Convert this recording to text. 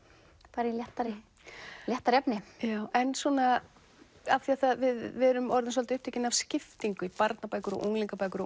fara í léttara í léttara efni en svona af því við erum orðin svolítið upptekin af skiptingu barnabækur og unglingabækur og